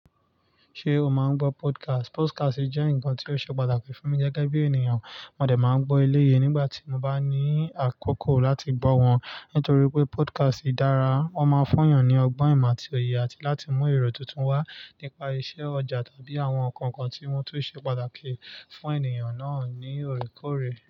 Ṣé o máa ń gbọ́ podcast? Podcast jẹ́ nǹkan tí ó ṣe pàtàkì fún mi gẹ́gẹ́ bí ènìyàn. Móde máa ń gbọ́ eleyii nígbà tí mo bá ní àkókò láti gbọ́ wọn. Nítorí wipé podcast dára, wọ́n máa fún èeyan ní ọgbọ́n ìmọ̀ àti òye àti láti mú èrò tuntun wá nípa iṣẹ́ ọjà tàbí àwọn nǹkan kan tí wọ́n tún ṣe pàtàkì fún ènìyàn náà ní òorékoòré.